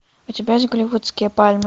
у тебя есть голливудские пальмы